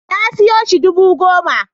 Na siyo shi dubu goma